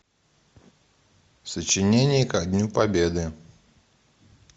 сочинение ко дню победы